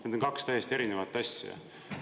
Need on kaks täiesti erinevat asja!